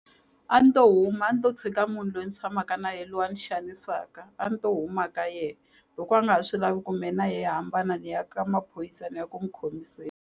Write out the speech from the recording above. A ni to huma a ni to tshika munhu lweyi ni tshamaka na ye lwe a ni xanisaka a ni to huma ka ye loko a nga swi lavi ku me na ye hi hambana niya ka maphorisa ni ya ku n'wi khomiseni.